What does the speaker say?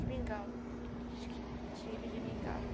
mingau. pedir mingal